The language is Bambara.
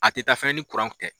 A te taa fɛnɛ ni kuranw tɛ.